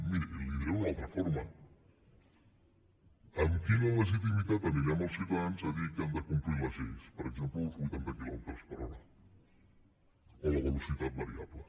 miri li ho diré d’una altra forma amb quina legitimitat anirem als ciutadans a dir que han de complir les lleis per exemple els vuitanta quilòmetres per hora o la velocitat variable